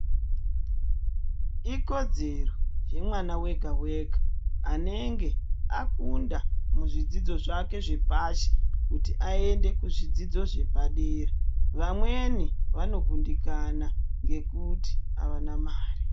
Ikodzero yemwana wega wega anenge akunda muzvidzidzo zvake zvepashi kuti ayende kuzvidzidzo zvepadera. Vamweni vanokundikana ngekuti havana mari.